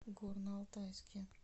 горно алтайске